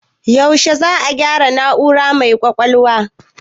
Yaushe za a gyaro na'ura mai ƙwaƙwalwan?